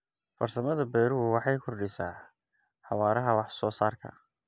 Farsamada beeruhu waxay kordhisaa xawaaraha wax soo saarka.